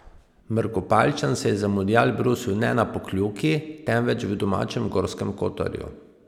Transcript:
Mrkopaljčan se je za mundial brusil ne na Pokljuki, temveč v domačem Gorskem kotarju.